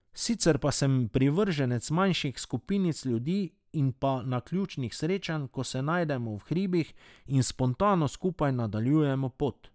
Sicer pa sem privrženec manjših skupinic ljudi in pa naključnih srečanj, ko se najdemo v hribih in spontano skupaj nadaljujemo pot.